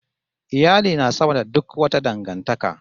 Iyali na sama da suk wata dangantaka